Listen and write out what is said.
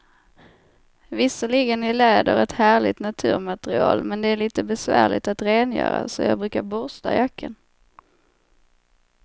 Visserligen är läder ett härligt naturmaterial, men det är lite besvärligt att rengöra, så jag brukar borsta jackan.